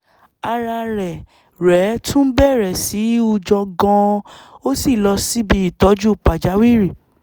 ara rẹ̀ rẹ̀ tún bẹ̀rẹ̀ sí í hunjọ gan-an ó sì lọ síbi ìtọ́jú pàjáwìrì